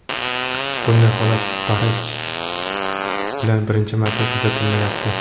Bunday holat Starrij bilan birinchi marta kuzatilmayapti.